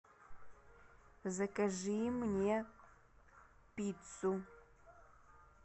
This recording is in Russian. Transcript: закажи мне пиццу